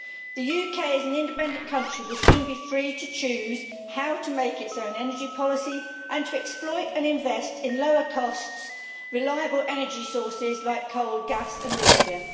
The UK as an independent country will soon be free to choose how to make its own energy policy and to exploit and invest in lower cost, reliable energy sources like coal, gas and nuclear.